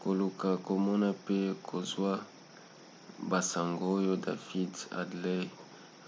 koluka komona pe kozwa basango oyo david headley